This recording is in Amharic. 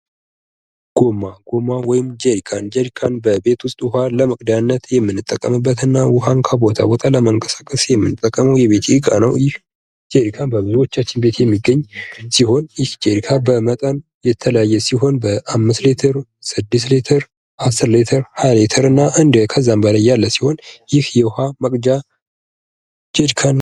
ጎማ ወይም ጀሪካን ቤት ውስጥ ውሃ ለመቅጃነት የምንጠቀመውና የምንናን እንቀሳቀስበት ጠቃሚ የቤት ዕቃ ነው በብዙዎቻችን ቤት የሚገኝ ሲሆን ይህ ጀሪካን በመጠን የተለያየ ሲሆን አምስት ሌተር፥ ስድስት ሊተር፥ አስር ሌተር፥ ሃያ ሊተር ከዛም በላይ ያለ ሲሆን ይህ የውሃ መቅጃ ጀሪካን ነው ።